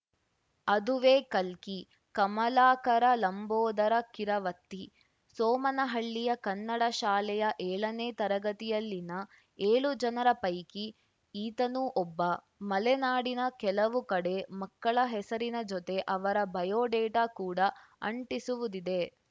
ಅದುವೇ ಕಲ್ಕಿ ಕಮಲಾಕರ ಲಂಬೋದರ ಕಿರವತ್ತಿ ಸೋಮನಹಳ್ಳಿಯ ಕನ್ನಡ ಶಾಲೆಯ ಏಳನೆ ತರಗತಿಯಲ್ಲಿನ ಏಳು ಜನರ ಪೈಕಿ ಈತನೂ ಒಬ್ಬ ಮಲೆನಾಡಿನ ಕೆಲವು ಕಡೆ ಮಕ್ಕಳ ಹೆಸರಿನ ಜೊತೆ ಅವರ ಬಯೋಡೇಟಾ ಕೂಡ ಅಂಟಿಸುವುದಿದೆ